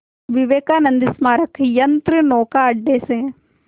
विवेकानंद स्मारक यंत्रनौका अड्डे से